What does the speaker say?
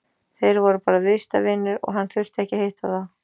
Þeir voru bara viðskiptavinir og hann þurfti ekki að hitta þá.